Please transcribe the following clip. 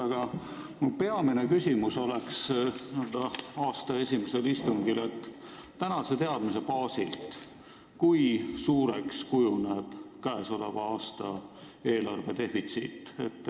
Aga mu peamine küsimus aasta esimesel istungil on selline: kui suureks kujuneb tänase teadmise baasil käesoleva aasta eelarvedefitsiit?